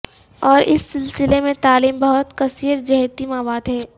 اور اس سلسلے میں تعلیم بہت کثیر جہتی مواد ہے